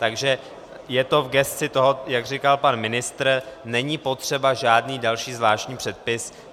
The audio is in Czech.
Takže je to v gesci toho, jak říkal pan ministr, není potřeba žádný další zvláštní předpis.